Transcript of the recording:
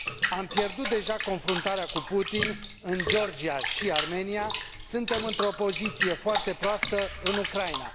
Am pierdut deja confruntarea cu Putin în Georgia și Armenia, suntem într o poziție foarte proastă în Ucraina.